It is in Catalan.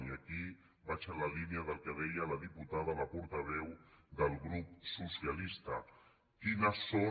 i aquí vaig en la línia del que deia la diputada la portaveu del grup socialista quines són